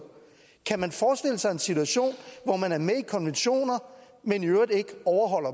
kan man forestille sig en situation hvor man er med i konventioner men i øvrigt ikke overholder